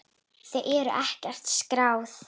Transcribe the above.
Þau eru ekkert skráð.